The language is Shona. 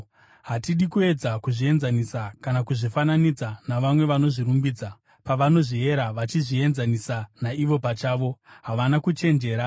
Hatidi kuedza kuzvienzanisa kana kuzvifananidza navamwe vanozvirumbidza. Pavanozviera vachizvienzanisa naivo pachavo, havana kuchenjera.